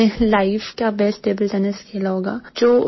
पूरे लाइफ का best table tennis खेला होगा